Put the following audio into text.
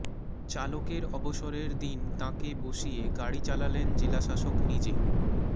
চালকের অবসরের দিন তাঁকে বসিয়ে গাড়ি চালালেন জেলাশাসক নিজে